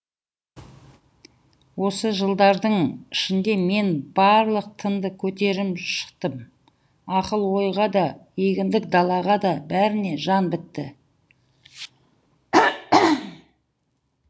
осы жылдардың ішінде мен барлық тынды көтеріп шықтым ақыл ойға да егіндік далаға да бәріне жан бітті